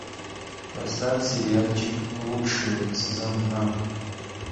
поставь сериальчик лучшие сезон два